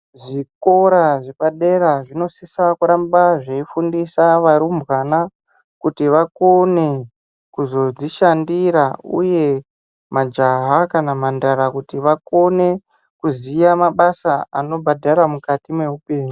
Zvikora zvepadera zvinosisa kuramba zveifundisa varimbwana kuti vakone kuzodzishandira, uye majaha kana kuti mhandara vakone kuziya mabasa anobhadhara mukati meupenyu.